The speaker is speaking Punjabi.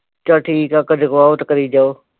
ਚੱਲ ਠੀਕ ਐ ਕਦੇ ਬਹੁ ਤੇ ਕਰੀ ਜਾਓ